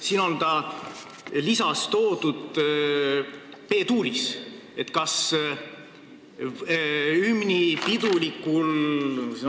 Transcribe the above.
Siin lisas on hümn toodud B-duuris.